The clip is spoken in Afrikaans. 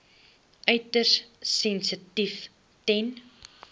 uiters sensitief ten